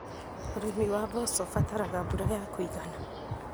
ũrĩmi wa mboco ũbataraga mbura ya kũigana.